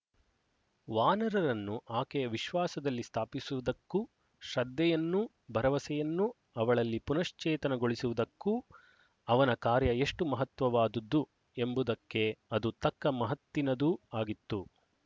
ವಾನರರನ್ನು ಆಕೆಯ ವಿಶ್ವಾಸದಲ್ಲಿ ಸ್ಥಾಪಿಸುವುದಕ್ಕೂ ಶ್ರದ್ಧೆಯನ್ನೂ ಭರವಸೆಯನ್ನೂ ಅವಳಲ್ಲಿ ಪುನಶ್ಚೇತನಗೊಳಿಸುವುದಕ್ಕೂ ಅವನ ಕಾರ್ಯ ಎಷ್ಟು ಮಹತ್ವವಾದ್ದು ಎಂಬುದಕ್ಕೆ ಅದು ತಕ್ಕ ಮಹತ್ತಿನದೂ ಆಗಿತ್ತು